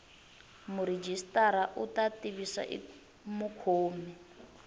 murhijisitara u ta tivisa mukhomi